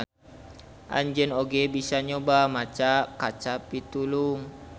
Anjeun oge bisa nyoba maca kaca pitulung.